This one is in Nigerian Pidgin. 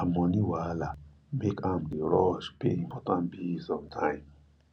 her money wahala make am dey rush pay important bills on time